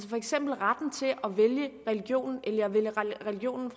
for eksempel retten til at vælge religion